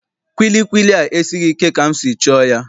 Kwilikwili a esighị ike ka m si chọọ ya.